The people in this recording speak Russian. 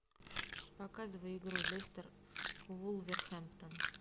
показывай игру лестер вулверхэмптон